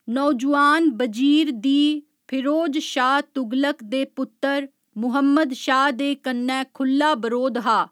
नौजुआन बजीर दी फिरोज शाह तुगलक दे पुत्तर मुहम्मद शाह दे कन्नै खु'ल्ला बरोध हा।